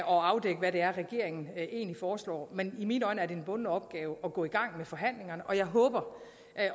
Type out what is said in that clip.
og afdække hvad det er regeringen egentlig foreslår men i mine øjne er det en bunden opgave at gå i gang med forhandlingerne og jeg håber